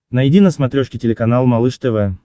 найди на смотрешке телеканал малыш тв